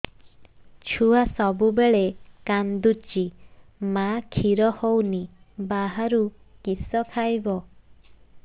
ଛୁଆ ସବୁବେଳେ କାନ୍ଦୁଚି ମା ଖିର ହଉନି ବାହାରୁ କିଷ ଖାଇବ